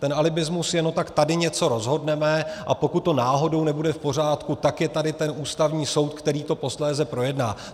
Ten alibismus je: No tak tady něco rozhodneme, a pokud to náhodou nebude v pořádku, tak je tady ten Ústavní soud, který to posléze projedná.